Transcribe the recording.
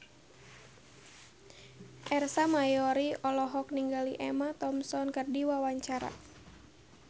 Ersa Mayori olohok ningali Emma Thompson keur diwawancara